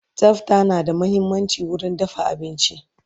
Tsafta na da muhimmanci wurin dafa abinci